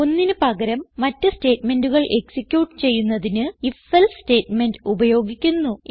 ഒന്നിന് പകരം മറ്റ് സ്റ്റേറ്റ്മെന്റുകൾ എക്സിക്യൂട്ട് ചെയ്യുന്നതിന് ifഎൽസെ സ്റ്റേറ്റ്മെന്റ് ഉപയോഗിക്കുന്നു